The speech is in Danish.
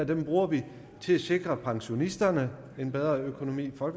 der bruger vi til at sikre pensionisterne en bedre økonomi for